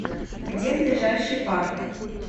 где ближайший парк